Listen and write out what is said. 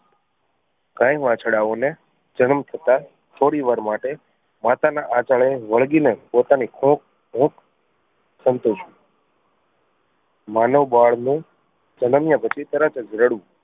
ગાય વાછડાઓ ને જનમ થતાં થોડી વાર માટે માતાના આચળે વળગી ને પોતાની કોખ હુંફ સંતોષવું માનવ બાળ ને જન્મ્યા પછી તરત જ રડવું.